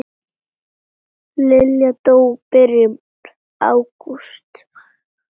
Lilla dó í byrjun ágúst.